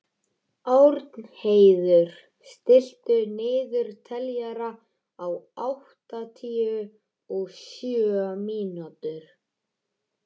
Árnheiður, stilltu niðurteljara á áttatíu og sjö mínútur.